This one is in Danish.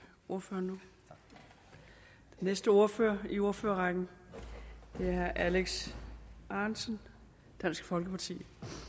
ordføreren den næste ordfører i ordførerrækken er herre alex ahrendtsen dansk folkeparti